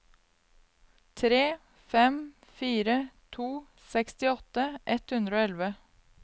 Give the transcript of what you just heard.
tre fem fire to sekstiåtte ett hundre og elleve